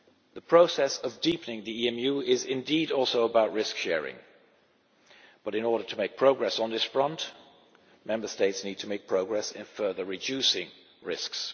The process of deepening the EMU is indeed also about risk sharing, but in order to make progress on this front, Member States need to make progress in further reducing risks.